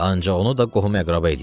Ancaq onu da qohum-əqrəba eləyər.